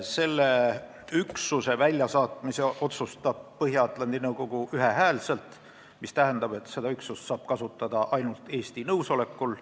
Selle üksuse väljasaatmise otsustab Põhja-Atlandi Nõukogu ühehäälselt, mis tähendab, et seda üksust saab kasutada ainult Eesti nõusolekul.